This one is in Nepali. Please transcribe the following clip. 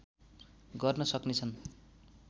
गर्न सक्ने छन्